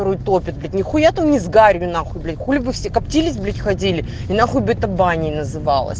не топит нехуя там не с горью нахуй блять хули вы все каптились блять ходили и нахуй блять то баней называлось